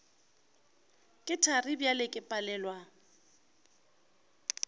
ke thari bjale ke palelwa